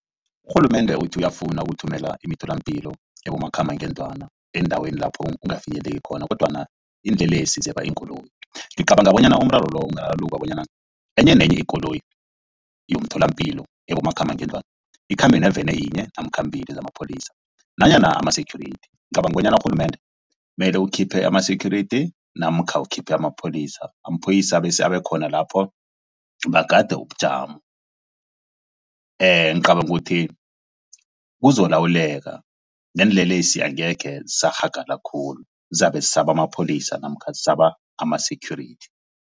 Urhulumende uthi uyafuna ukuthumela imitholampilo ebomakhambangendlwana eendaweni lapho ungafinyeleli khona kodwana iinlelesi zeba iinkoloyi. Ngicabanga bonyana umraro lo ungararululwa bonyana enye nenye ikoloyi yomtholampilo ebomakhambangendlwana ikhambe naveni yinye namkha mbili zamapholisa nanyana ama-security. Ngicabanga bonyana urhulumende mele ukhiphe ama-security namkha ukhiphe amapholisa amaphoyisa abekhona lapho bagade ubujamo. Ngicabanga ukuthi kuzokulawuleka neenlelesi angekhe zisarhagala khulu zizabe zisaba amapholisa namkha zisaba ama-security.